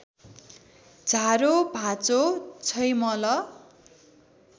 झारो भाँचो छैमल